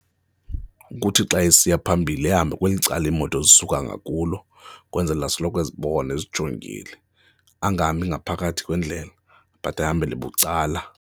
Ukuthi xa esiya phambili ahambe kweli cala iimoto zisuka ngakulo kwenzele asoloko ezibona ezijongile, angahambi ngaphakathi kwendlela but ahambele bucala.